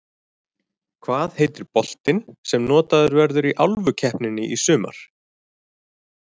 Hvað heitir boltinn sem notaður verður í Álfukeppninni í sumar?